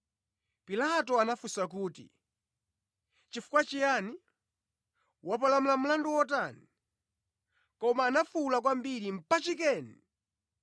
Pilato anafunsa kuti, “Chifukwa chiyani? Wapalamula mlandu wotani?” Koma anafuwula kwambiri, “Mpachikeni!”